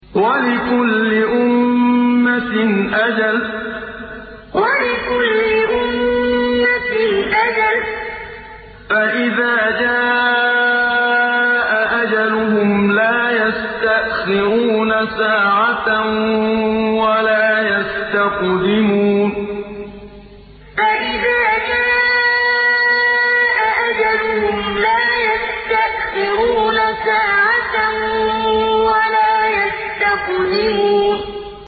وَلِكُلِّ أُمَّةٍ أَجَلٌ ۖ فَإِذَا جَاءَ أَجَلُهُمْ لَا يَسْتَأْخِرُونَ سَاعَةً ۖ وَلَا يَسْتَقْدِمُونَ وَلِكُلِّ أُمَّةٍ أَجَلٌ ۖ فَإِذَا جَاءَ أَجَلُهُمْ لَا يَسْتَأْخِرُونَ سَاعَةً ۖ وَلَا يَسْتَقْدِمُونَ